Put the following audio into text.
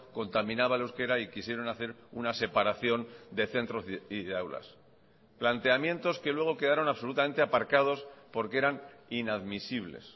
contaminaba el euskera y quisieron hacer una separación de centros y de aulas planteamientos que luego quedaron absolutamente aparcados porque eran inadmisibles